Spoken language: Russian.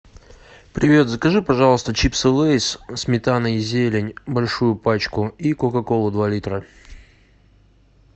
привет закажи пожалуйста чипсы лэйс сметана и зелень большую пачку и кока колу два литра